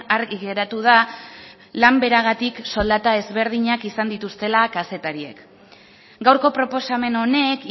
argi geratu da lan beragatik soldata ezberdinak izan dituztela kazetariek gaurko proposamen honek